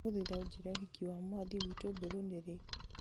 ndagũthaitha ũnjĩĩre ũhiki wa mwathĩ witũ mbũrũ nĩ rĩ